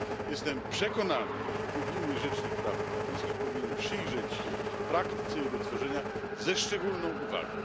Jestem przekonany, że Europejski Rzecznik Praw Obywatelskich powinien przyjrzeć się praktyce jego tworzenia ze szczególną uwagą.